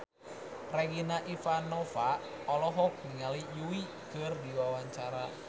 Regina Ivanova olohok ningali Yui keur diwawancara